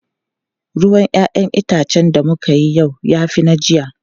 Ruwan 'ya'yan itacen da muka yi yau ya fi na jiya.